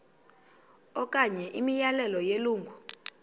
okanye imiyalelo yelungu